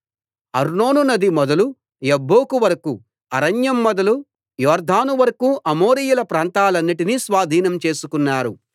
అర్నోను నది మొదలు యబ్బోకు వరకూ అరణ్యం మొదలు యొర్దాను వరకూ అమోరీయుల ప్రాంతాలన్నిటిని స్వాధీనం చేసుకున్నారు